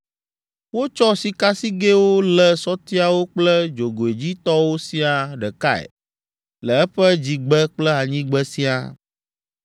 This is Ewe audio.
Wotsɔ sikasigɛwo lé sɔtiawo kple dzogoedzitɔwo siaa ɖekae le eƒe dzigbe kple anyigbe siaa.